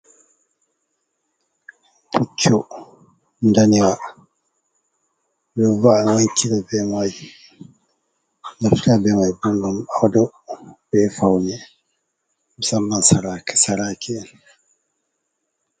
Puccu ndanewa ɓeɗo naftira be majum. Ɓeɗo va'a ɗum ɓeɗo fauna ɗum musamman sarake’en.